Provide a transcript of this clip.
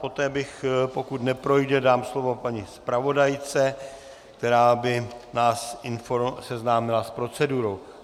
Poté bych, pokud neprojde, dal slovo paní zpravodajce, která by nás seznámila s procedurou.